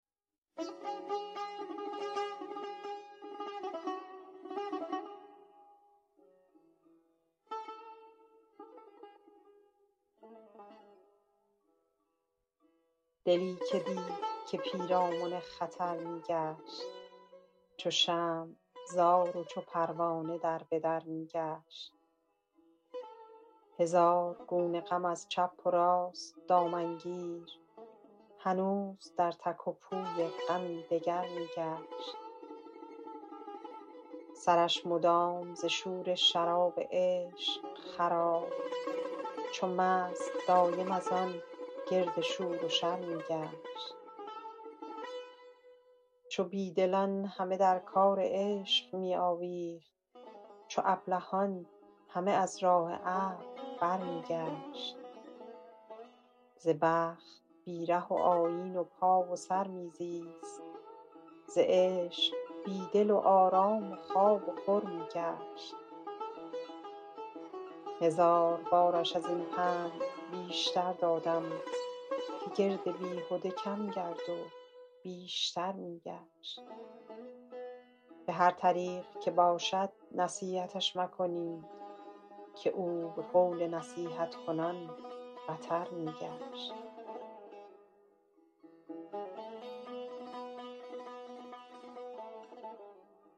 دلی که دید که پیرامن خطر می گشت چو شمع زار و چو پروانه در به در می گشت هزار گونه غم از چپ و راست دامن گیر هنوز در تک و پوی غمی دگر می گشت سرش مدام ز شور شراب عشق خراب چو مست دایم از آن گرد شور و شر می گشت چو بی دلان همه در کار عشق می آویخت چو ابلهان همه از راه عقل برمی گشت ز بخت بی ره و آیین و پا و سر می زیست ز عشق بی دل و آرام و خواب و خور می گشت هزار بارش از این پند بیشتر دادم که گرد بیهده کم گرد و بیشتر می گشت به هر طریق که باشد نصیحتش مکنید که او به قول نصیحت کنان بتر می گشت